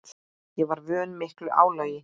Ég var vön miklu álagi.